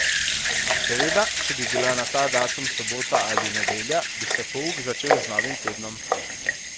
Seveda, če bi bila na ta datum sobota ali nedelja, bi se pouk začel z novim tednom.